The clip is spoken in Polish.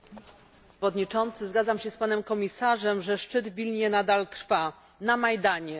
Panie Przewodniczący! Zgadzam się z panem komisarzem, że szczyt w Wilnie nadal trwa na Majdanie.